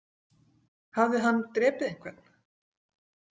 Hafði hann drepið einhvern?